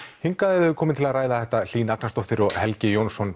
hingað eru komin til að ræða þetta Hlín Agnarsdóttir og Helgi Jónsson